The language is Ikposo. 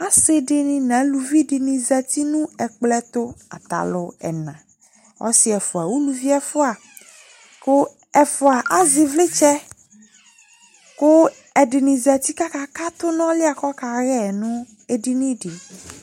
ɔsidini na ɑluvidini zɑti nu ɛkploetu kɑlu ɛna ɔsi ɛfua uluviefua ku ɛfua ɑze ivlitse ku ɛdinizati kɑkakatu nu ɔluekakahe me ɛdinidi